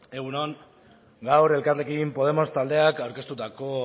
egun on gaur elkarrekin podemos taldeak aurkeztutako